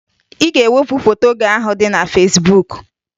Ị ga-ewepụ foto gị ahụ dị na Fesbuk!